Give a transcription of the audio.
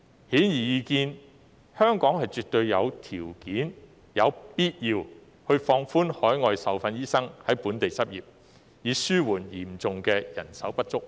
顯而易見，香港絕對有條件及有必要放寬海外受訓醫生在本地執業的規定，以紓緩嚴重的人手不足問題。